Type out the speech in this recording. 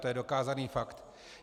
To je dokázaný fakt.